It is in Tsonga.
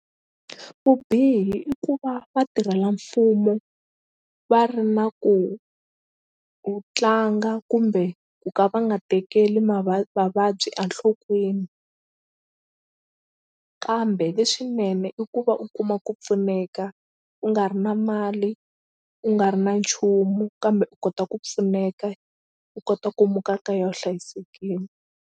Vubihi i ku va vatirhelamfumo va ri na ku u tlanga kumbe ku ka va nga tekeli vavabyi a nhlokweni kambe leswinene i ku va u kuma ku pfuneka u nga ri na mali u nga ri na nchumu kambe kota ku pfuneka u kota ku muka kaya u hlayisekini.